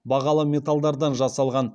бағалы металдардан жасалған